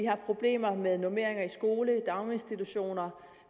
har problemer med normeringer i skoler og daginstitutioner